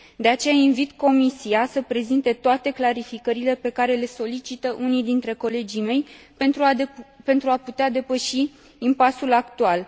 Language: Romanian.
De aceea, invit Comisia să prezinte toate clarificările pe care le solicită unii dintre colegii mei, pentru a putea depăși impasul actual.